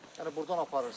Yəni burdan aparırsız?